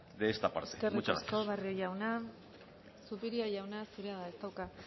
de esta parte muchas gracias eskerrik asko barrio jauna zupiria jaunak